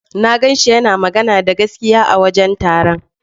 Na ganshi yana magana da gaskiya a wajen taron.